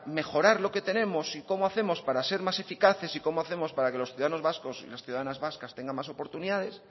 mejorar lo que tenemos y cómo hacemos para ser más eficaces y cómo hacemos para que los ciudadanos vascos y las ciudadanas vascas tengan más oportunidades